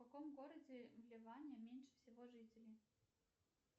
в каком городе в ливане меньше всего жителей